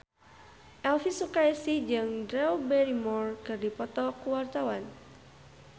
Elvy Sukaesih jeung Drew Barrymore keur dipoto ku wartawan